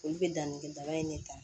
Olu bɛ danni kɛ daga in de ta